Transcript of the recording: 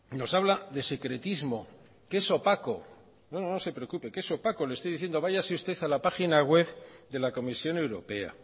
nos habla de secretismo que es opaco no no se preocupe que es opaco le estoy diciendo váyase usted a la página web de la comisión europea